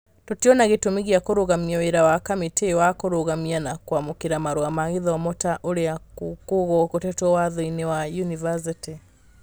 "Tũtirona gĩtũmi gĩa kũrũgamia wĩra wa kamĩtĩ wa kũrũgamia na kwamũkĩra marũa ma gĩthomo ta ũrĩa kũgwetetwo Watho-inĩ wa Yunivacĩtĩ.